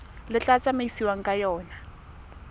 le tla tsamaisiwang ka yona